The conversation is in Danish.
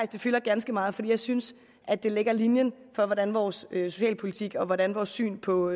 det fylder ganske meget for jeg synes at det lægger linjen for hvordan vores socialpolitik og hvordan vores syn på